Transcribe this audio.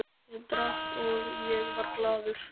Ég drakk og ég var glaður.